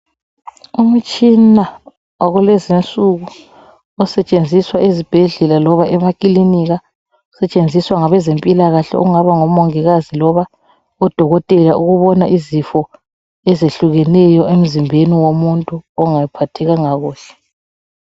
Umtshina wakulezi insuku osetshenziswa ezibhedlela loba emakilinika, osetshenziswa ngabezempilakahle okungaba ngomongikazi loba odokotela ukubona izifo ezehlukeneyo emzimbeni womuntu ongaphathekanga kuhle.